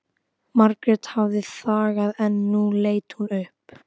Ég er til í smá róður en ekki að veiða.